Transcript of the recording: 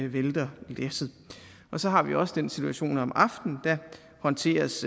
vælter læsset så har vi også den situation at om aftenen håndteres